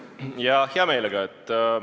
Jah, hea meelega.